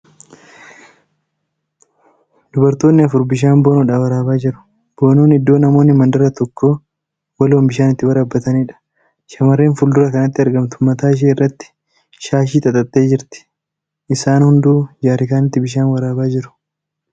Dubartoonni afur bishaan boonoodhaa waraabaa jiru . Boonoon iddoo namoonni mandara tokko waloon bishaan itti waraabbataniidha. Shamarrreen fuuldura kanatti argamtu mataa ishee irratti shaashii xaxattee jirti. Isan hunduu jeerkaaniitti bishaan waraabaa jiru.